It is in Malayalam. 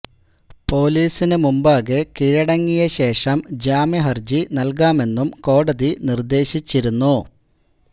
പോലീസിന് മുമ്പാകെ കീഴടങ്ങിയ ശേഷം ജാമ്യ ഹരജി നല്കാമെന്നും കോടതി നിര്ദേശിച്ചിരുന്നു